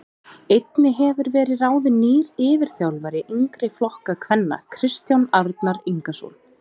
Einnig hefur verið ráðin nýr yfirþjálfari yngri flokka kvenna Kristján Arnar Ingason.